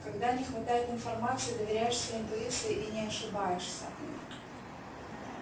когда не хватает информации доверяешься интуиции и не ошибаешься